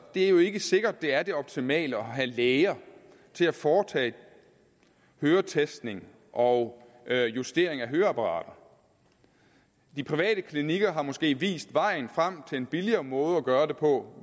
er jo ikke sikkert at det er det optimale at have læger til at foretage høretestning og og justering af høreapparater de private klinikker har måske vist vejen frem til en billigere måde at gøre det på